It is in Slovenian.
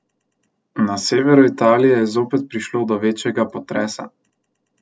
Na severu Italije je zopet prišlo do večjega potresa.